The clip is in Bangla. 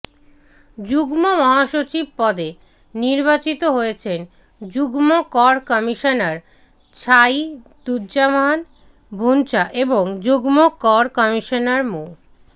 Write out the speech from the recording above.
যুগ্ম মহাসচিব পদে নির্বাচিত হয়েছেন যুগ্ম কর কমিশনার ছায়িদুজ্জামান ভুঞা এবং যুগ্ম কর কমিশনার মো